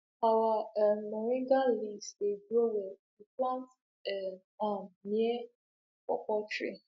our um moringa leaves dey grow well if you plant um am near pawpaw trees